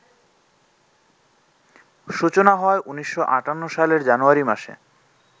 সূচনা হয় ১৯৫৮ সালের জানুয়ারি মাসে